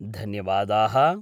धन्यवादाः